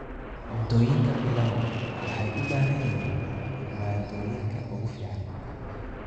Cuntooyinka Pilau waxay u baahan yihiin maaddooyinka ugu fiican.